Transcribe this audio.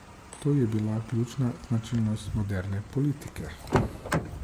To je bila ključna značilnost moderne politike.